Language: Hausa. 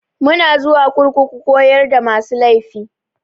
Muna zuwa kurkuku koyar da masu laifi.